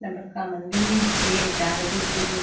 इतने बड़का मंदिर छे चारो पीती लोक--